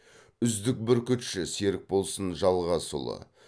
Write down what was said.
үздік бүркітші серікболсын жалғасұлы